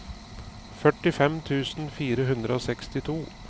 førtifem tusen fire hundre og sekstito